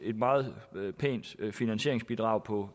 meget pænt finansieringsbidrag på